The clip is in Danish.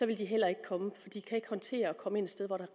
ville de heller ikke komme for de kan ikke håndtere at komme steder